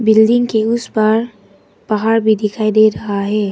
Building के उस पार पहाड़ भी दिखाई दे रहा है।